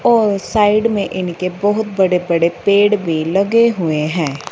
और साइड में इनके बहोत बड़े-बड़े पेड़ भी लगे हुए है।